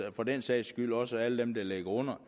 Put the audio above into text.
og for den sags skyld også alle dem der ligger under